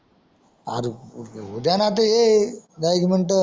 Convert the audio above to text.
R होऊद्याना त ये दहा एक मिनट